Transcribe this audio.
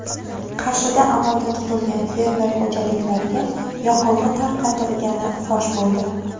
Qarshida amalda tugatilgan fermer xo‘jaliklariga yoqilg‘i tarqatilgani fosh bo‘ldi.